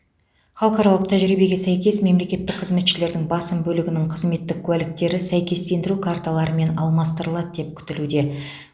халықаралық тәжірибеге сәйкес мемлекеттік қызметшілердің басым бөлігінің қызметтік куәліктері сәйкестендіру карталарымен алмастырылады деп күтілуде